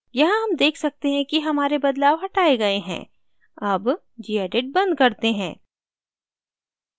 यहाँ हम let सकते हैं कि हमारे बदलाव हटाए गए हैं अब gedit बंद करते हैं